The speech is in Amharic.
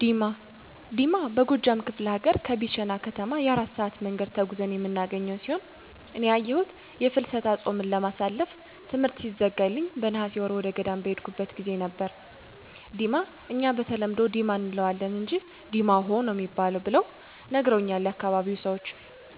ዲማ፦ ዲማ በጎጃም ከፍለ ሀገር ከቢቸና ከተማ የ4 ሰአት መንገድ ተጉዘን የምናገኘው ሲሆን እኔ ያየሁት የፍልሰታ ጾምን ለማሳለፍ ትምሕርት ሲዘጋልኝ በነሐሴ ወር ወደገዳም በሄድኩበት ጊዜ ነበር፤ ዲማ እኛ በተለምዶ "ዲማ “ አንለዋለን አንጅ “ድማኅ“ ነው ሚባል ብለው ነግረውኛል ያካባቢው ሰዎች።